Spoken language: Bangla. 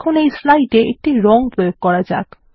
এখন এই স্লাইডে একটি রং প্রয়োগ করা যাক